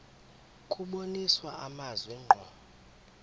kubonisa amazwi ngqo